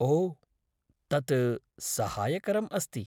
ओ, तत् सहायकरम् अस्ति।